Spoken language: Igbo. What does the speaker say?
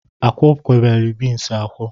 A kwuokwala beans akwọ?